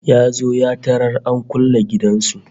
Ya zo ya tarar an kulle gidan su